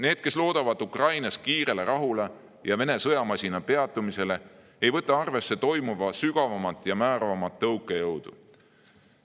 Need, kes loodavad Ukrainas kiirele rahule ja Vene sõjamasina peatumisele, ei võta arvesse toimuva sügavamat ja määravamat tõukejõudu.